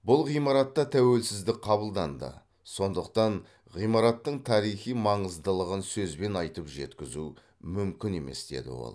бұл ғимаратта тәуелсіздік қабылданды сондықтан ғимараттың тарихи маңыздылығын сөзбен айтып жеткізу мүмкін емес деді ол